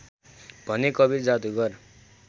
भने कवीर जादुगर